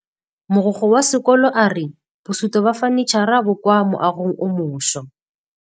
Mogokgo wa sekolo a re bosutô ba fanitšhara bo kwa moagong o mošwa.